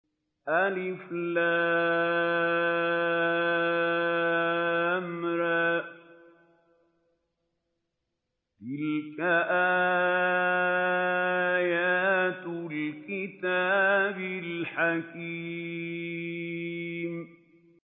الر ۚ تِلْكَ آيَاتُ الْكِتَابِ الْحَكِيمِ